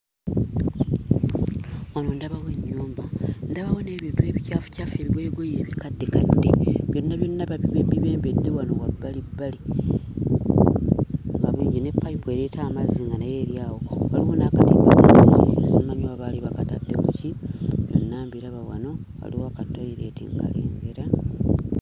Wano ndabawo ennyumba, ndabawo n'ebintu ebicaafucaafu, ebigoyegoye ebikaddekadde nga byonna byonna babi bibembedde wano wabbalibbali nga bingi ne payipu ereeta amazzi nga nayo eri awo. Waliwo n'akadomola aka simanyi oba baali bakatadde ku ki? Byonna mbiraba wano, waliwo kattooyireeti nkalengera.